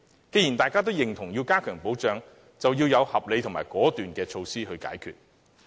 既然大家均贊同要加強保障，就要訂定合理的解決措施，果斷執行。